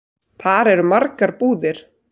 Þar eru margar búðir.